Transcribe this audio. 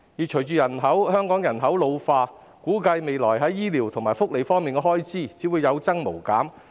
隨着香港人口老化，估計未來在醫療及福利方面的開支只會有增無減。